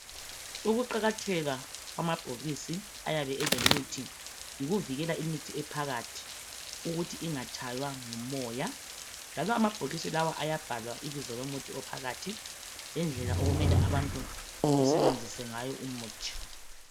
Ukuqakatheka kwamabhokisi ayabe elemithi yikuvikela imithi ephakathi ukuthi ingatshaywa ngumoya njalo amabhokisi lawa ayabhalwa ibizo lomuthi ophakathi lendlela okumele abantu besebenzise ngayo umuthi.